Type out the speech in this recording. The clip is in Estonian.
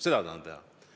Seda tahan teha!